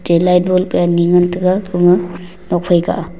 che light bulb wai ani ngan taiga nokfai kah a.